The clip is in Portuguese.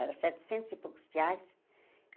Era setecentos e poucos reais.